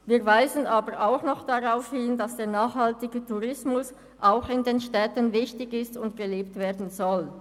Wir weisen aber darauf hin, dass der nachhaltige Tourismus auch in den Städten wichtig ist und gelebt werden soll.